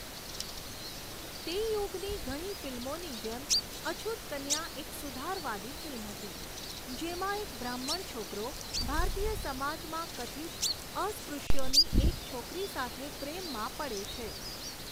તે યુગની ઘણી ફિલ્મોની જેમ, અછૂત કન્યા એક સુધારવાદી ફિલ્મ હતી, જેમાં એક બ્રાહ્મણ છોકરો ભારતીય સમાજમાં કથિત અસ્પૃશ્યોની એક છોકરી સાથે પ્રેમમાં પડે છે.